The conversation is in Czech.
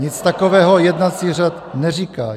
"Nic takového jednací řád neříká.